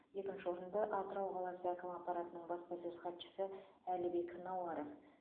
екінші орынды атырау қаласы әкімі аппаратының баспасөз хатшысы әлібек науаров